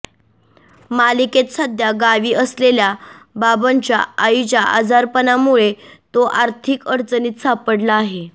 मालिकेत सध्या गावी असलेल्या बाबनच्या आईच्या आजारपणामुळे तो आर्थिक अडचणीत सापडला आहे